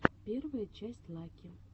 первая часть лаки